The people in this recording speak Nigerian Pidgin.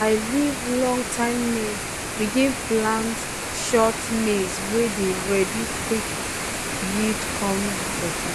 i leave long-time maize begin plant short maize wey dey ready quick yield come better.